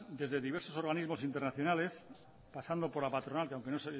desde diversos organismos internacionales pasando por la patronal que aunque